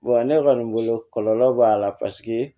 ne kɔni bolo kɔlɔlɔ b'a la paseke